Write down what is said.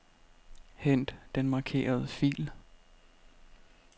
Hent den markerede fil.